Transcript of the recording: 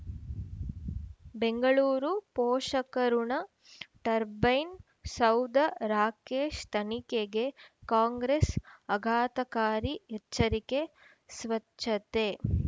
ಬೆಂಗಳೂರು ಪೋಷಕ ಋಣ ಟರ್ಬೈನು ಸೌಧ ರಾಕೇಶ್ ತನಿಖೆಗೆ ಕಾಂಗ್ರೆಸ್ ಆಘಾತಕಾರಿ ಎಚ್ಚರಿಕೆ ಸ್ವಚ್ಛತೆ